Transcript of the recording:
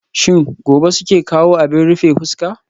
Shin gobe suke kawo abin rufe fuska?